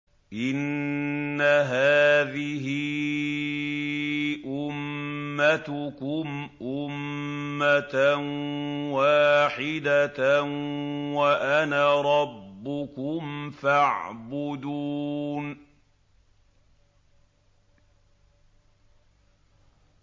إِنَّ هَٰذِهِ أُمَّتُكُمْ أُمَّةً وَاحِدَةً وَأَنَا رَبُّكُمْ فَاعْبُدُونِ